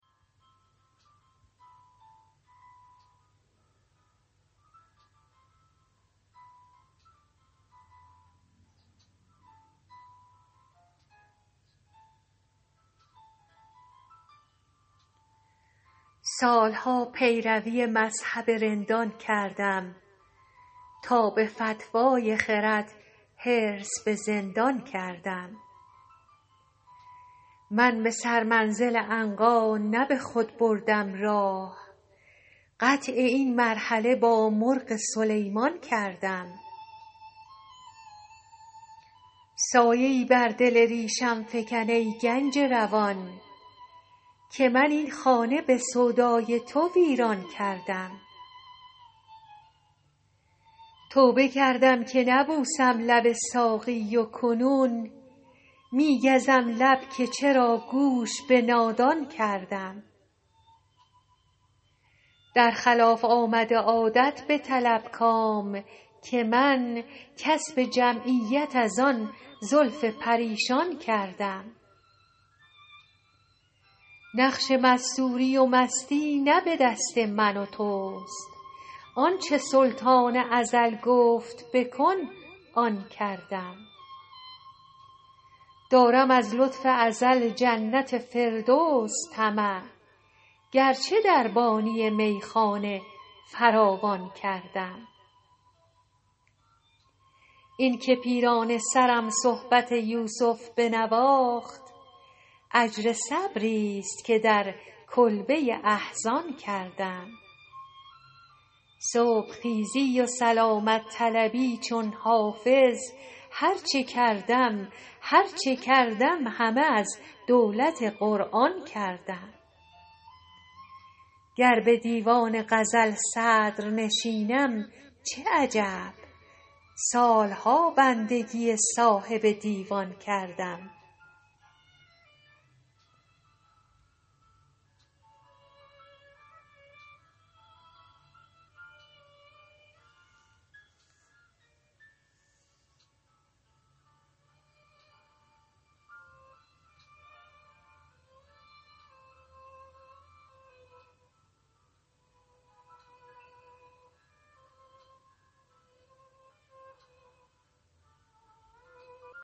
سال ها پیروی مذهب رندان کردم تا به فتوی خرد حرص به زندان کردم من به سرمنزل عنقا نه به خود بردم راه قطع این مرحله با مرغ سلیمان کردم سایه ای بر دل ریشم فکن ای گنج روان که من این خانه به سودای تو ویران کردم توبه کردم که نبوسم لب ساقی و کنون می گزم لب که چرا گوش به نادان کردم در خلاف آمد عادت بطلب کام که من کسب جمعیت از آن زلف پریشان کردم نقش مستوری و مستی نه به دست من و توست آن چه سلطان ازل گفت بکن آن کردم دارم از لطف ازل جنت فردوس طمع گرچه دربانی میخانه فراوان کردم این که پیرانه سرم صحبت یوسف بنواخت اجر صبریست که در کلبه احزان کردم صبح خیزی و سلامت طلبی چون حافظ هر چه کردم همه از دولت قرآن کردم گر به دیوان غزل صدرنشینم چه عجب سال ها بندگی صاحب دیوان کردم